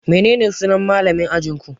Menene sunan malamin ajinku?